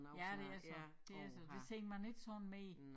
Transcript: Ja det er så det er så det ser man ikke sådan mere